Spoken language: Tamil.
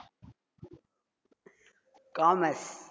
commerce